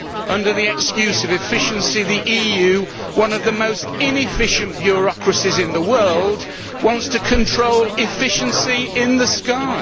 Under the excuse of efficiency, the EU one of the most inefficient bureaucracies in the world wants to control efficiency in the sky.